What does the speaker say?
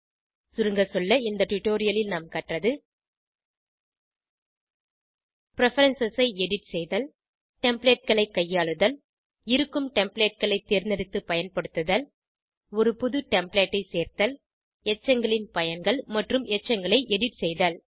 சுருங்க சொல்ல இந்த டுடோரியலில் நாம் கற்றது பிரெஃபரன்ஸ் ஐ எடிட் செய்தல் Templateகளை கையாளுதல் இருக்கும் Templateகளை தேர்ந்தெடுத்து பயன்படுத்துதல் ஒரு புது டெம்ப்ளேட் ஐ சேர்த்தல் எச்சங்களின் பயன்கள் மற்றும் எச்சங்களை எடிட் செய்தல்